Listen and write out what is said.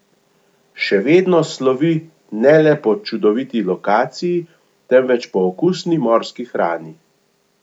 Še vedno slovi ne le po čudoviti lokaciji, temveč po okusni morski hrani.